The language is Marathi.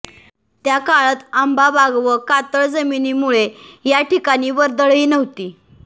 त्याकाळात आंबा बाग व कातळ जमिनीमुळे या ठिकाणी वर्दळही नव्हती